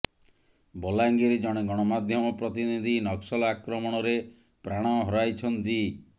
ବଲାଙ୍ଗିର ଜଣେ ଗଣମାଧ୍ୟମ ପ୍ରତିନିଧି ନକ୍ସଲ ଆକ୍ରମଣରେ ପ୍ରାଣ ହରାଇଛନ୍ତି